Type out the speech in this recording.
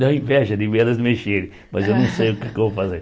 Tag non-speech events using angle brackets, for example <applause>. Dá inveja de ver elas mexerem, <laughs> mas eu não sei o que vou fazer.